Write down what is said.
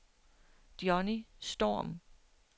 Johnny Storm